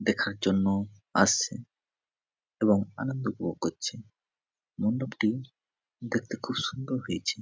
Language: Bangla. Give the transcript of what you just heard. দেখার জন্য আসছে এবং আনন্দ উপভোগ করছে। মণ্ডপটি দেখতে খুব সুন্দর হয়েছে ।